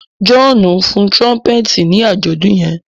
Johnu fọn trumpeti ni ajọdun yen